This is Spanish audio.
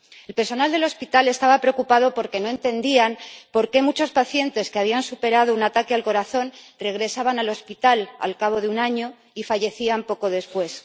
El personal del hospital estaba preocupado porque no entendía por qué muchos pacientes que habían superado un ataque al corazón regresaban al hospital al cabo de un año y fallecían poco después.